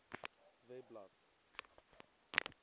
webblad